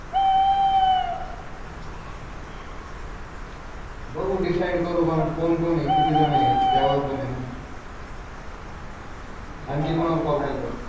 बघू डिसाइड करू कोण कोण आहे किती झण आहेत त्यावर पण आहे न आणखी कोणाला कॉल केलता